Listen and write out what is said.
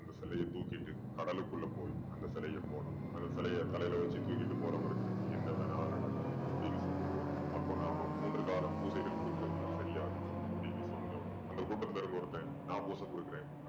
அந்த சிலைய தூக்கிட்டு கடலுக்குள்ள போய் அந்த சிலைய போடணும். அந்த சிலைய தலையில வெச்சு தூக்கிட்டு போறவருக்கு என்ன வேணாலும் நடக்கலாம் அப்படீன்னு சொல்லும் போது அப்போ நாம மூன்று கால பூசைகள் கொடுக்கறது தான் சரியா இருக்கும் அப்படீன்னு சொன்னதும் அந்த கூட்டத்துல இருக்கற ஒருத்தன் நான் பூசை கொடுக்குறேன்